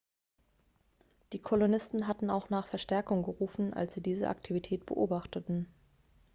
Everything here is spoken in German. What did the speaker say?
die kolonisten hatten auch nach verstärkung gerufen als sie diese aktivität beobachteten